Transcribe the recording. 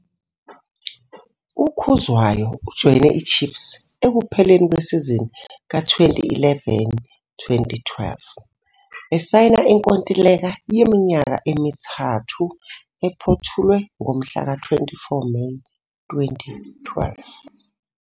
UKhuzwayo ujoyine iChiefs ekupheleni kwesizini ka-2011-12 esayina inkontileka yeminyaka emithathu ephothulwe ngomhlaka-24 Meyi 2012.